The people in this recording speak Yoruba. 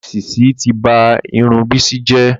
Èsísí ti ba Irun Bisi jẹ́